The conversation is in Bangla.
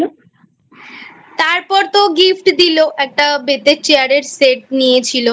তারপর তো Gift দিল একটা বেতের Chair এর Set নিয়েছিল